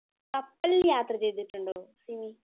കപ്പലിൽ യാത്ര ചെയ്തിട്ടുണ്ടോ സിമി?